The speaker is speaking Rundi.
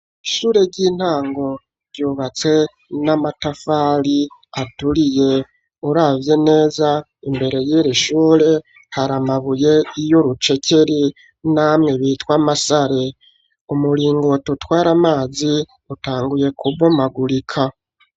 Ishure ry'intango ryubatse n'amatafari aturiye, uravye neza imbere y'iri shure hari amabuye y'urucekeri namwe bitwa amasare, umuringoti utwara amazi utanguye kubomagurika.